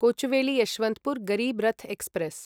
Kochuveli Yesvantpur Garib Rath express